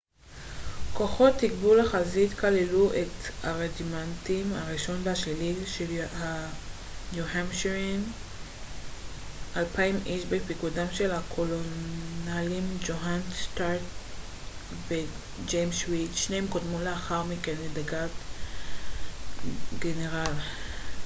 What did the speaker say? כוחות תגבור לחזית כללו את הרג'ימנטים הראשון והשלישי של ניו-המפשיירהמונים 200 איש בפיקודם של הקולונלים ג'והן סטארק וג'יימס ריד שניהם קודמו לאחר מכן לדרת גנרל